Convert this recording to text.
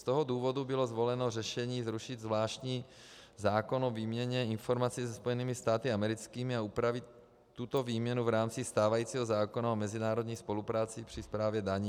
Z toho důvodu bylo zvoleno řešení zrušit zvláštní zákon o výměně informací se Spojenými státy americkými a upravit tuto výměnu v rámci stávajícího zákona o mezinárodní spolupráci při správě daní.